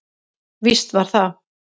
Víst var það.